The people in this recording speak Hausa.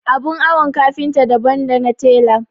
Abin awon kafinta daban dana tela.